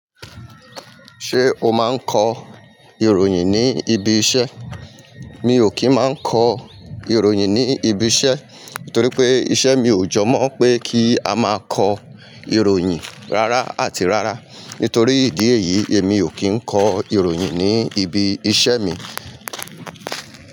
Ṣé o máa ń kọ ìròyìn ní ibi iṣẹ́? Mi ò kí ń máa ń kọ ìròyìn ní ibi iṣẹ́, nítorí pé iṣẹ́ mi ò jọ mọ́ pé kí a máa kọ ìròyìn rárá àti rárá. Nítorí ìdí èyí, èmi ò kí ń kọ ìròyìn ní ibi iṣẹ́ mi.